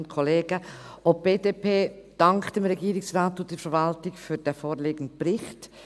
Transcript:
Auch die BDP dankt dem Regierungsrat und der Verwaltung für den vorliegenden Bericht.